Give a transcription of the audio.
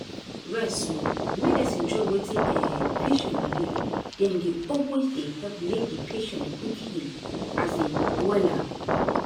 rest small. medicine join wetin um patient believe dem dey always dey help make di patient quick heal um wella.